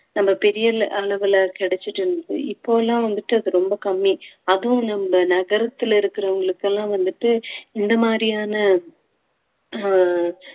நம்ம பெரிய அள~ அளவுல கிடைச்சிட்டு இருந்தது இப்ப எல்லாம் வந்துட்டு அது ரொம்ப கம்மி அதுவும் நம்ம நகரத்துல இருக்கிறவங்களுக்கு எல்லாம் வந்துட்டு இந்த மாதிரியான அஹ்